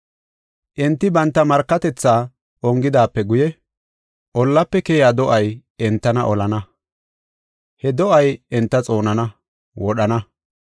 Enti banta markatethaa ongidaape guye, ollaafe keyiya do7ay entana olana. He do7ay enta xoonana; wodhana.